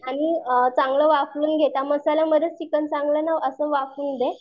आणि अ चांगल वाफवून घे त्या मसाल्या मध्येच चिकन चांगल अस वाफवून घे